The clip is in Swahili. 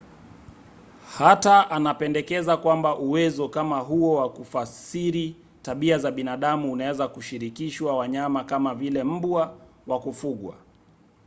hata anapendekeza kwamba uwezo kama huo wa kufasiri tabia za binadamu unaweza kushirikishwa wanyama kama vile mbwa wa kufugwa